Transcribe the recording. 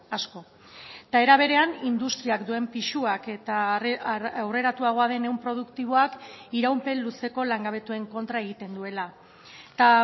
asko eta era berean industriak duen pisuak eta aurreratuagoa den ehun produktiboak iraupen luzeko langabetuen kontra egiten duela eta